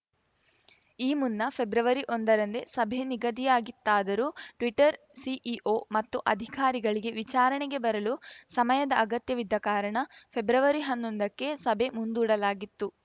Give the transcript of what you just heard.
ಈ ಮುನ್ನ ಫೆಬ್ರವರಿಒಂದರಂದೇ ಸಭೆ ನಿಗದಿಯಾಗಿತ್ತಾದರೂ ಟ್ವೀಟರ್‌ ಸಿಇಒ ಮತ್ತು ಅಧಿಕಾರಿಗಳಿಗೆ ವಿಚಾರಣೆಗೆ ಬರಲು ಸಮಯದ ಅಗತ್ಯವಿದ್ದ ಕಾರಣ ಫೆಬ್ರವರಿಹನ್ನೊಂದಕ್ಕೆ ಸಭೆ ಮುಂದೂಡಲಾಗಿತ್ತು